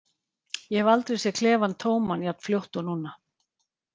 Ég hef aldrei séð klefann tóman jafn fljótt og núna.